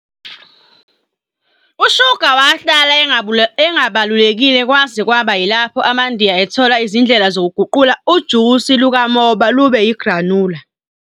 USugar wahlala engabalulekile kwaze kwaba yilapho amaNdiya ethola izindlela zokuguqula ujusi lukamoba ube yi-granula